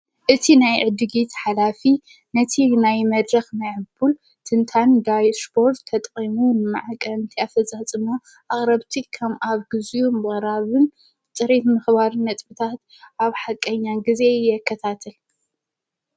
እቲ ናይ ዕድጊት ሓላፊ ነቲ ናይ መድረኽ ማይዕቡል ትንታን ዳይ ስፖርት ተጠቂሙን መዐቀኒ ኣፈፃፅማ ኣክረብቲ ከም ኣብ ጊዜኡ በራቡን ፅሪት ምኽባርን ነጥብታት ኣብ ሓቀኛ ጊዜ የከታትል።